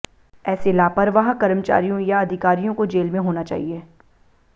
ऐसे लापरवाह कर्मचारीयों या अधिकारियों को जेल में होना चाहिए